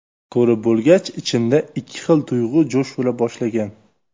Ko‘rib bo‘lgach, ichimda ikki xil tuyg‘u jo‘sh ura boshlagan.